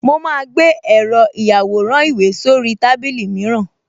Mo máa gbé èrò ìyàwòrán-ìwé sórí tábìlì mìíràn